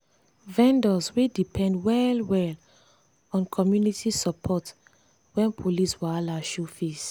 vendors dey depend well-well on community support when police wahala show face.